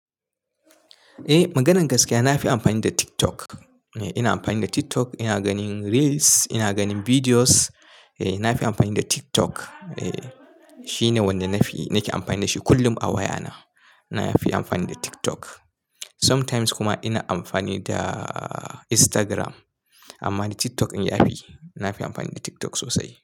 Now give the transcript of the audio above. Eh maganar gaskiya na fi amfani da TikTok. Ni ina amfani da TikTok, ina ganin Reels, ina ganin videos. Eh na fi amfani da TikTok. Eh shine wanda na fi, nake amfani da shi kullum a wayana. Na fi amfani da TikTok. Sometimes kuma ina amfani da Instagram amma dai TikTok in ya fi. Na fi amfani da TikTok sosai.